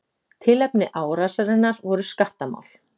Tilefni árásarinnar voru skattamál.